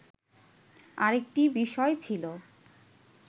আরেকটি বিষয় ছিল